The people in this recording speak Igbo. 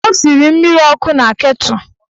Ọ siri mmiri ọkụ na ketụl.